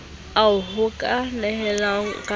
ao ho ka nehelanwang ka